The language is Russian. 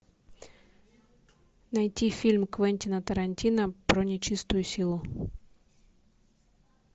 найти фильм квентина тарантино про нечистую силу